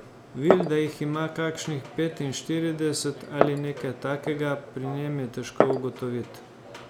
Vilda jih ima kakšnih petinštirideset ali nekaj takega, pri njem je težko ugotovit.